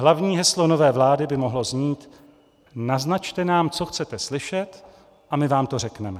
Hlavní heslo nové vlády by mohlo znít: naznačte nám, co chcete slyšet, a my vám to řekneme.